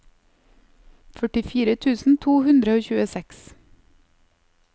førtifire tusen to hundre og tjueseks